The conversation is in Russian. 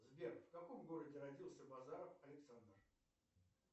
сбер в каком городе родился базаров александр